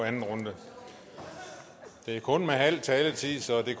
anden runde det er kun med halv taletid så det